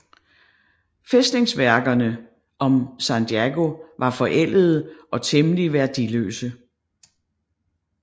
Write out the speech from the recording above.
Fæstningsværkerne om Sanjago var forældede og temmelig værdiløse